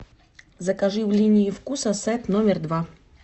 закажи в линии вкуса сет номер два